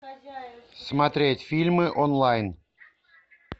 смотреть фильмы онлайн